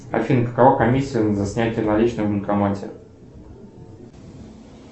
афина какова комиссия за снятие наличных в банкомате